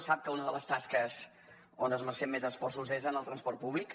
sap que una de les tasques on esmercem més esforços és en el transport públic